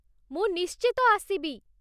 ମୁଁ ନିଶ୍ଚିତ ଆସିବି ।